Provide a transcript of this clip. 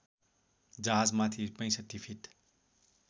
जहाजमाथि ६५ fit